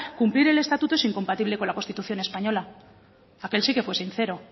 cumplir el estatuto es incompatible con la constitución española aquel sí que fue sincero